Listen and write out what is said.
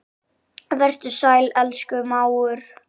Vertu sæll, elsku mágur.